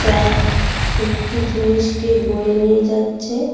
আ একটি জিনিসকে বয়ে নিয়ে যাচ্ছে।